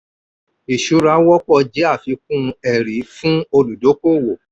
ìṣura wọ́pọ̀ jẹ́ àfikún ẹ̀rí fún olùdókòwò.